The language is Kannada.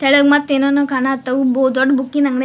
ಥಾಲಗ್ ಮತ್ ಏನ್ ಏನೋ ಕಾಣ ಹತ್ತವು ಗೋ ದೊಡ್ಡ್ ಬುಕ್ಕಿನ್ ಅಂಗ್ಡಿ --